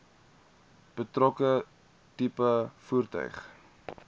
betrokke tipe voertuig